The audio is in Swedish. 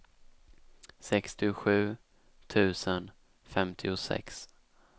sextiosju tusen femtiosex